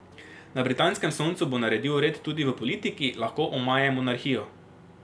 Na britanskem Soncu bo naredil red tudi v politiki, lahko omaje monarhijo.